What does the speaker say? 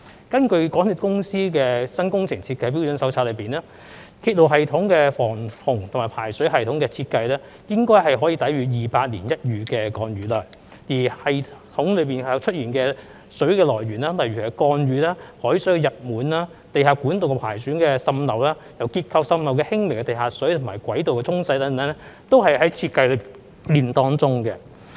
根據港鐵公司的《新工程設計標準手冊》，鐵路系統的防洪和排水系統設計應該可以抵禦200年一遇的降雨量，而在鐵路系統中出現的水的來源包括降雨、海水溢滿、地下管道的破損滲漏，以及因結構滲漏而出現的輕微地下水和軌道沖洗等，這些全部在設計時已有考慮。